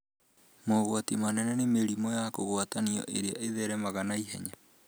Mũgwati mũnene nĩ mĩrimũ ya kũgwatanio ĩrĩa ĩtheremaga na ihenya